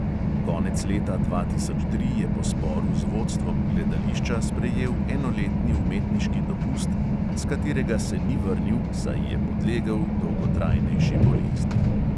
Konec leta dva tisoč tri je po sporu z vodstvom gledališča sprejel enoletni umetniški dopust, s katerega se ni vrnil, saj je podlegel dolgotrajnejši bolezni.